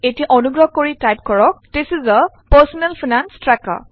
এতিয়া অনুগ্ৰহ কৰি টাইপ কৰক this is a personal finance trekker